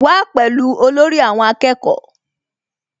Wá pẹ̀lú olórí àwọn akẹ́kọ̀ọ́